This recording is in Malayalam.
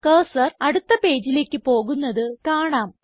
കർസർ അടുത്ത പേജിലേക്ക് പോകുന്നത് കാണാം